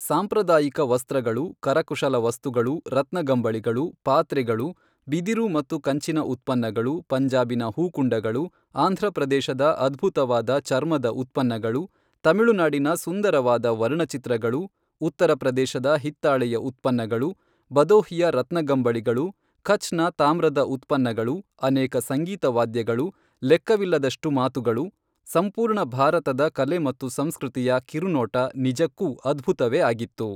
ಸಾಂಪ್ರದಾಯಿಕ ವಸ್ತ್ರಗಳು, ಕರಕುಶಲ ವಸ್ತುಗಳು, ರತ್ನಗಂಬಳಿಗಳು, ಪಾತ್ರೆಗಳು, ಬಿದಿರು ಮತ್ತು ಕಂಚಿನ ಉತ್ಪನ್ನಗಳು, ಪಂಜಾಬಿನ ಹೂಕುಂಡಗಳು, ಆಂಧ್ರಪ್ರದೇಶದ ಅದ್ಭುತವಾದ ಚರ್ಮದ ಉತ್ಪನ್ನಗಳು, ತಮಿಳುನಾಡಿನ ಸುಂದರವಾದ ವರ್ಣಚಿತ್ರಗಳು, ಉತ್ತರ ಪ್ರದೇಶದ ಹಿತ್ತಾಳೆಯ ಉತ್ಪನ್ನಗಳು, ಬದೋಹಿಯ ರತ್ನಗಂಬಳಿಗಳು, ಕಛ್ ನ ತಾಮ್ರದ ಉತ್ಪನ್ನಗಳು, ಅನೇಕ ಸಂಗೀತ ವಾದ್ಯಗಳು, ಲೆಕ್ಕವಿಲ್ಲದಷ್ಟು ಮಾತುಗಳು, ಸಂಪೂರ್ಣ ಭಾರತದ ಕಲೆ ಮತ್ತು ಸಂಸ್ಕೃತಿಯ ಕಿರುನೋಟ ನಿಜಕ್ಕೂ ಅದ್ಭುತವೇ ಆಗಿತ್ತು.